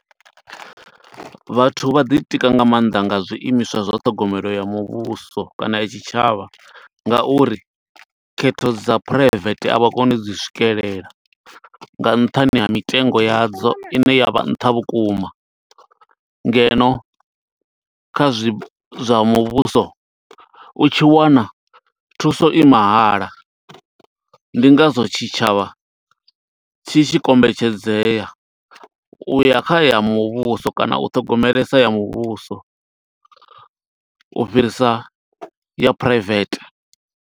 Vhathu vha ḓi tika nga maanḓa nga zwiimiswa zwa ṱhogomelo ya muvhuso, kana ya tshitshavha, nga uri khetho dza phuraivete a vha koni u dzi swikelela nga nṱhani ha mitengo yadzo, i ne ya vha nṱha vhukuma. Ngeno, kha zwi zwa muvhuso u tshi wana thuso i mahala, ndi ngazwo tshitshavha tshi tshi kombetshedzea u ya kha ya muvhuso, kana u ṱhogomelesa ya muvhuso. U fhirisa ya private.